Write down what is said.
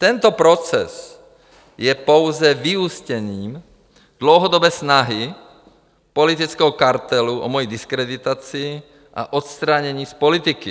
Tento proces je pouze vyústěním dlouhodobé snahy politického kartelu o moji diskreditaci a odstranění z politiky.